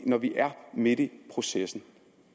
når vi er midt i processen